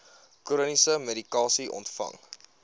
chroniese medikasie ontvang